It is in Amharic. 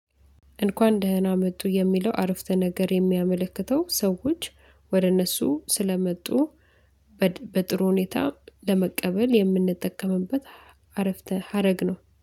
እንኳን ደህና መጡ የሚለው አረፍተ ነገር የሚያመለክተው ሰዎች ወደ እነሱ ስለመጡ በጥሩ ሁኔታ ለመቀበል የምንጠቀምበት አረፍተ ሀረግ ነው።